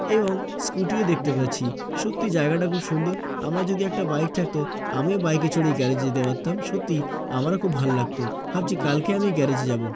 এবং স্কুটি ও দেখতে পাচ্ছি সত্যি জায়গাটা খুব সুন্দর আমার যদি একটা বাইক থাকতো আমিও বাইক এ চড়ে গ্যারেজ যেতে পারতাম সত্যি আমার খুব ভালো লাগতো ভাবছি কালকে আমি গ্যারেজ এ যাব।